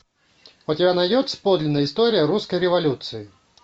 у тебя найдется подлинная история русской революции